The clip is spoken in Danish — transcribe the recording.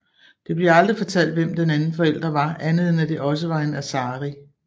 Det bliver aldrig fortalt hvem den anden forældre var andet end at det også var en Asari